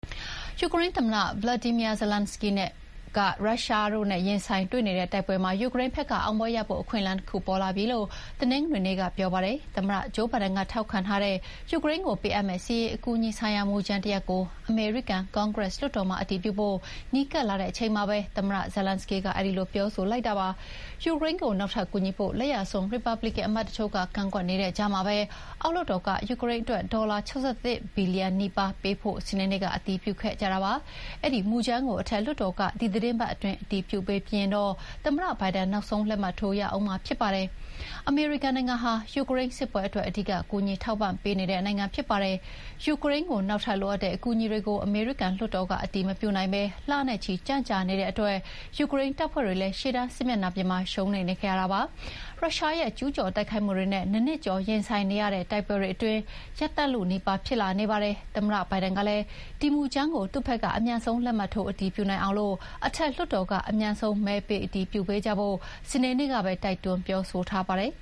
ယူကရိန်းသမ္မတ Volodymyr Zelenskyy က ရုရှားနဲ့ရင်ဆိုင်တွေ့နေတဲ့တိုက်ပွဲမှာ ယူကရိန်းဘက်ကအောင်ပွဲရဖို့ အခွင့်အလမ်းတခု ပေါ်လာပြီလို့ တနင်္ဂနွေနေ့က ပြောပါတယ်။ သမ္မတဂျိုးဘိုင်ဒန်ကထောက်ခံထားတဲ့ ယူကရိန်းကိုပေးအပ်မယ့် စစ်ရေးအကူအညီဆိုင်ရာမူကြမ်းတရပ်ကို အမေရိကန်ကွန်ဂရက်လွှတ်တော်မှာ အတည်ပြုဖို့ နီးကပ်လာချိန်မှာပဲ သမ္မတ Zelenskyy ကအဲဒီလိုပြောဆိုလိုက်တာပါ။ ယူကရိန်းကို နောက်ထပ်ကူညီဖို့ လက်ယာစွန်း ရီပတ်ဘလစ်ကန်အမတ်တချို့က ကန့်ကွက်နေတဲ့ကြားမှာပဲ အောက်လွှတ်တော်က ယူကရိန်းအတွက် ဒေါ်လာ ၆၁ ဘီလီယံနီးပါးပေးဖို့ စနေနေ့က အတည်ပြုခဲ့ကြတာပါ။ အဲဒီမူကြမ်းကို အထက်လွှတ်တော်က ဒီသီတင်းပတ်အတွင်း အတည်ပြုပေးပြီးရင်တော့ သမ္မတဘိုင်ဒန်က နောက်ဆုံးလက်မှတ်ထိုးရဦးမှာဖြစ်ပါတယ်။ အမေရိကန်နိုင်ငံဟာ ယူကရိန်းစစ်ပွဲအတွက် အဓိကကူညီထောက်ပံ့ပေးနေတဲ့နိုင်ငံဖြစ်ပါတယ်။ ယူကရိန်းနောက်ထပ်လိုအပ်တဲ့အကူအညီတွေကို အမေရိကန်လွှတ်တော်ကအတည်မပြုနိုင်ဘဲ လနဲ့ချီ ကြန့်ကြာနေတဲ့အတွက် ယူကရိန်းတပ်ဖွဲ့တွေလည်း ရှေ့တန်စစ်မြေပြင်မှာ ရှုံးနိမ့်နေခဲ့ရတာဖြစ်ပါတယ်။ ရုရှားရဲ့ ကျူးကျော်တိုက်ခိုက်မှုတွေနဲ့ ၂ နှစ်ကျော်ရင်ဆိုင်နေရတဲ့ တိုက်ပွဲတွေလည်း ရပ်တန့်လုနီးပါးဖြစ်လာနေပါတယ်။ သမ္မတဘိုင်ဒန်ကလည်း ဒီမူကြမ်းကို သူ့ဘက်က အမြန်ဆုံးလက်မှတ်ထိုးအတည်ပြုနိုင်အောင် အထက်လွှတ်တော်က အမြန်ဆုံးမဲပေးအတည်ပြုပေးကြဖို့ စနေနေ့ကပဲ တိုက်တွန်းပြောဆိုထားပါတယ်